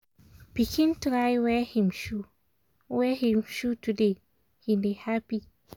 pikin try wear him shoe wear him shoe today he dey happy